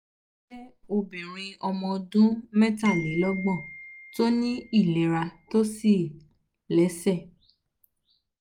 mo jẹ́ obìnrin ọmọ ọdún metalelogbon tó ní ìlera tó sì lẹ́sẹ̀